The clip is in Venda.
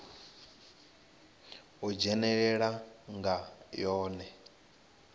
ha u dzhenelela nga yone